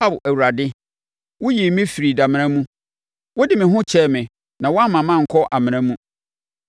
Ao Awurade, woyii me firii damena mu; wode me ho kyɛɛ me na woamma mankɔ amena mu.